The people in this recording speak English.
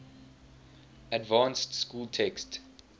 advanced school text